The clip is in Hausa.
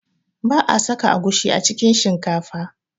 Ba'a saka agushi a cikin shinkafa